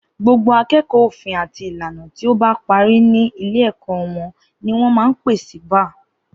Gbogbo akẹẹkọ òfin àti ìlànà tí o bá pàrí ni ilé èkó won ni wón mà ń pẹ sí bàà